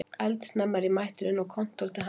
Eldsnemma er ég mættur inn á kontór til Hannesar